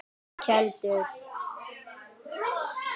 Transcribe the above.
Keldum